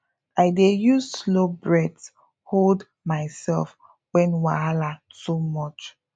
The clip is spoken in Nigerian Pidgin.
i dey use slow breath hold myself when wahala too much